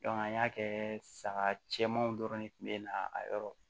an y'a kɛ saga cɛmanw dɔrɔn de kun bɛ na a yɔrɔ